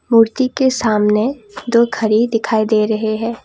मूर्ति के सामने दो घड़ी दिखाई दे रहे हैं।